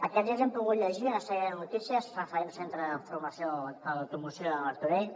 aquests dies hem pogut llegir una sèrie de notícies referents al centre de formació per a l’automoció de martorell